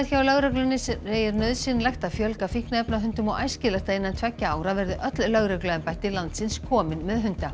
hjá lögreglunni segir nauðsynlegt að fjölga fíkniefnahundum og æskilegt að innan tveggja ára verði öll lögregluembætti landsins komin með hunda